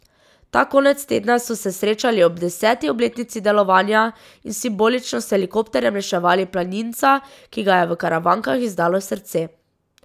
Ta konec tedna so se srečali ob deseti obletnici delovanja in simbolično s helikopterjem reševali planinca, ki ga je v Karavankah izdalo srce.